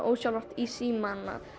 ósjálfrátt í símann að